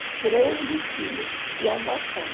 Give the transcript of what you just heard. treze filha de adoção.